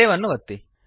save ಅನ್ನು ಒತ್ತಿ